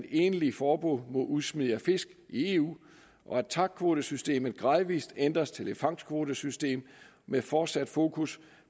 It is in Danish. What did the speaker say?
egentligt forbud mod udsmid af fisk i eu at tac kvotesystemet gradvis ændres til et fangstkvotesystem med fortsat fokus